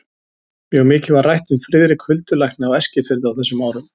Mjög mikið var rætt um Friðrik huldulækni á Eskifirði á þessum árum.